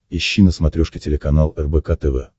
ищи на смотрешке телеканал рбк тв